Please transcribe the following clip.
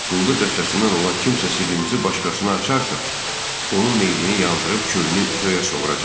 Quldur dəstəsindən olan kimsə sirrimizi başqasına açarsa, onun meyidini yandırıb külünü göyə sovuracaqdı.